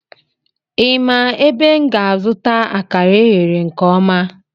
Ị ma ebe m ga-azụta akara eghere nke ọma?